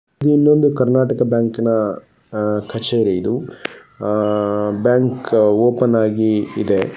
ಇಲ್ಲೊಂದು ಕರ್ನಾಟಕ ಬ್ಯಾಂಕಿನ ಅಹ್ ಕಛೇರಿ ಇದು ಆಹ್ ಬ್ಯಾಂಕ್ ಓಪನ್ ಆಗಿ ಇದೆ .